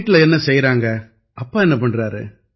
வீட்டில என்ன செய்யறாங்க அப்பா என்ன பண்றாரு